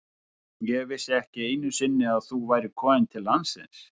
Ég vissi ekki einu sinni að þú værir komin til landsins.